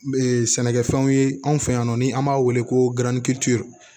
sɛnɛkɛfɛnw ye anw fɛ yan nɔ ni an b'a wele ko